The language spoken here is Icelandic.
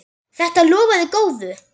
Þetta lofaði góðu!